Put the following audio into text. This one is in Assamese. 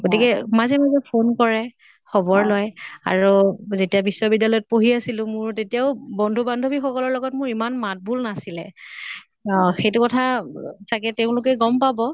গতিকে মাজে মাজে phone কৰে। খবৰ লয়। আৰু যেতিয়া বিশ্ব বিদ্য়ালয়ত পঢ়ি আছলোঁ মোৰ তেতিয়াও বন্ধু বান্ধৱী সকলৰ লগত মোৰ ইমান মাত বোল নাছিলে। অʼʼ সেইটো কথা চাগে তেওঁলোকে গম পাব।